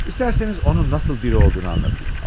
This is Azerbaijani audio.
İsterseniz onun nasıl biri olduğunu anlatayım.